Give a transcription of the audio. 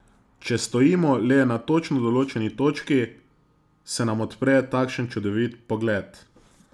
Če stojimo le na točno določeni točki, se nam odpre takšen čudovit pogled.